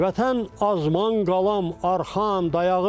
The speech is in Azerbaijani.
Vətən azman qalam arxam dayağım.